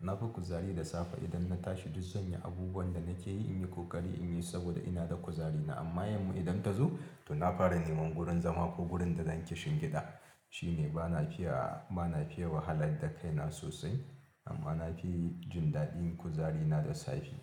Nafi kuzari da safe idan na tashi du zanyi abubuwan da nake yi, in yi ƙoƙari inyi saboda ina da kuzari na, amma yamma idan ta zo, to na fara neman gurin zama ko gurin da zan kishingiɗa. Shine bana fiya, bana fiya wahala da kaina sosai amma nafi jin daɗin kuzarina da safe.